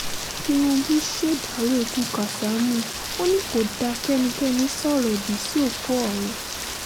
tinúbú ṣèdàrọ́ ikú kásámù ò ní kó dáa kẹ́nikẹ́ni sọ̀rọ̀ òdì sí òkú ọ̀run